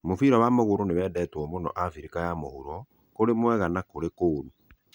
Mũbira wa magũrũ nĩ ũndũ wendetwo mũno Afrika ya Ithũĩro-kurĩ mwega na kurĩ kũru.